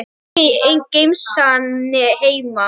Hvorki í gemsann né heima.